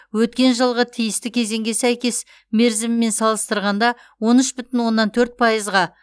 өткен жылғы тиісті кезеңге сәйкес мерзімімен салыстырғанда он үш бүтін оннан төрт пайызға